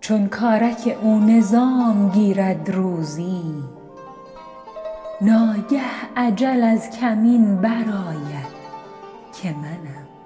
چون کارک او نظام گیرد روزی ناگه اجل از کمین برآید که منم